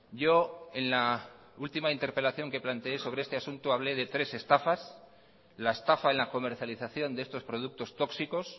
yo en la última interpelación que planteé sobre este asunto hablé de tres estafas la estafa en la comercialización de estos productos tóxicos